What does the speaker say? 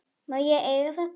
Má ég eiga þetta?